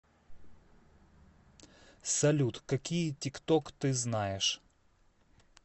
салют какие тикток ты знаешь